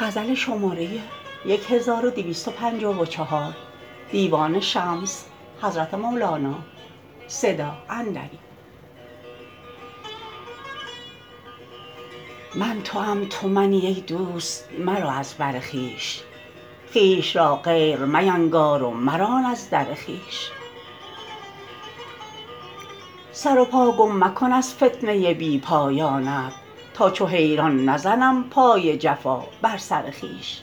من توام تو منی ای دوست مرو از بر خویش خویش را غیر مینگار و مران از در خویش سر و پا گم مکن از فتنه بی پایانت تا چو حیران بزنم پای جفا بر سر خویش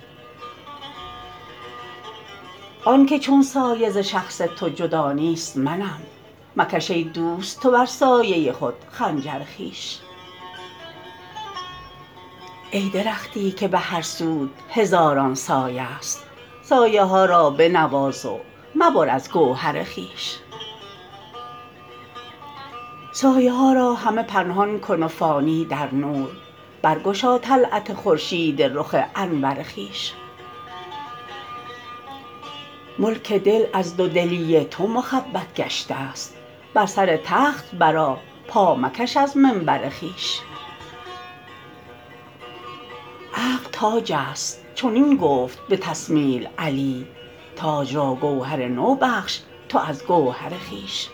آن که چون سایه ز شخص تو جدا نیست منم مکش ای دوست تو بر سایه خود خنجر خویش ای درختی که به هر سوت هزاران سایه ست سایه ها را بنواز و مبر از گوهر خویش سایه ها را همه پنهان کن و فانی در نور برگشا طلعت خورشید رخ انور خویش ملک دل از دودلی تو مخبط گشته ست بر سر تخت برآ پا مکش از منبر خویش عقل تاج است چنین گفت به تثمیل علی تاج را گوهر نو بخش تو از گوهر خویش